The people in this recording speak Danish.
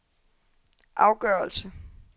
afgørelse